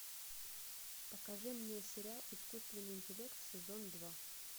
покажи мне сериал искусственный интеллект сезон два